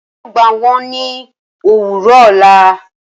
Rara, Emi yoo gba wọn ni owurọ ọla